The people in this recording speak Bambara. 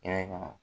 Yɛrɛ kama